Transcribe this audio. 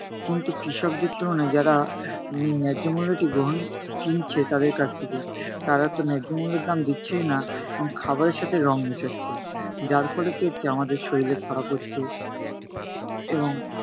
কিন্তু কৃষকদের তুলনায় যারা উহ ন্যায্য মূল্যটি গ্রহণ কিনছে তাদের কাছ থেকে, তারা তো ন্যায্য মূল্যের দাম দিচ্ছেই না। এবং খাবারের সাথে রং মেশাচ্ছে। যার ফলে কী হচ্ছে? আমাদের শরীর খারাপ হচ্ছে এবং